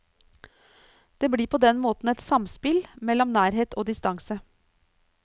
Det blir på den måten et samspill mellom nærhet og distanse.